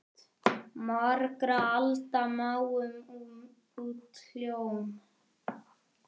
Margra alda máum út hljóm?